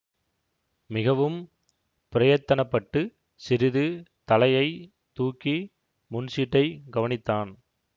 மிகவும் பிரயத்தனப்பட்டுச் சிறிது தலையை தூக்கி முன் சீட்டைக் கவனித்தான்